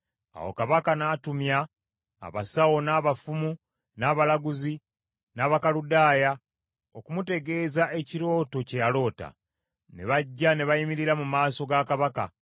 Awo kabaka n’atumya abasawo, n’abafumu, n’abalaguzi n’Abakaludaaya okumutegeeza ekirooto kye yaloota. Ne bajja ne bayimirira mu maaso ga kabaka.